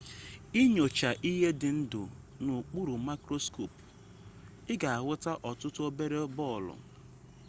i nyochaa ihe dị ndụ n'okpuru maịkroskopu ị ga ahụta ọtụtụ obere bọọlụ